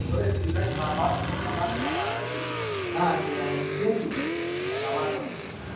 ore sipitali napaash iltung'anak nataaniki naa meitanyanyukieki enalakwa